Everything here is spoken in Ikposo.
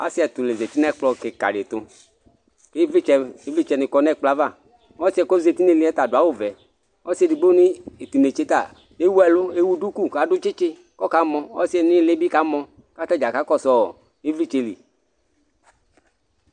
aassi ɛtũ la zãti nɛ kplɔ kïkă di tʊ ïvlitsɛ ïvlitsɛ nï kɔ nɛkplɔ ava ɔssie kɔzati niliẽ tadũ awʊ vɛ ɔssi edigbo ni tinetseta ewuelʊ ewũ dũkũ kadũ tsïtsï kɔka mɔ ɔssie nïlibi kamɔ k'atadza kakɔsuɔ ïvlïtsɛ li